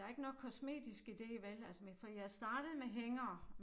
Der ikke noget kosmetisk i det vel altså men fordi jeg startede med hængere